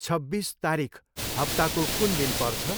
छब्बिस तारिख हप्ताको कुन दिन पर्छ?